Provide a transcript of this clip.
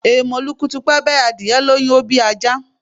Èèmọ̀ lukutupẹ́bẹ́, adìyẹ lóyún, ó bí ajá